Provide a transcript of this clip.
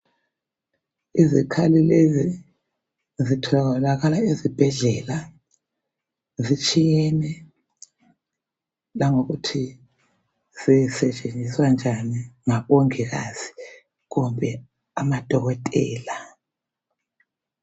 Izikhali lezi zitholakala ezibhedlela ,zitshiyene langokuthi zisetshenziswa njani . Ngabongikazi kumbe amadokotela.